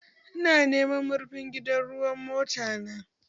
Ina neman marfin gidan ruwan mota